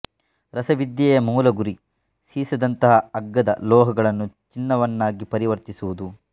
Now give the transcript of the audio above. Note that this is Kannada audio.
ರಸವಿದ್ಯೆಯ ಮೂಲ ಗುರಿ ಸೀಸದಂತಹ ಅಗ್ಗದ ಲೋಹಗಳನ್ನು ಚಿನ್ನವನ್ನಾಗಿ ಪರಿವರ್ತಿಸುವುದು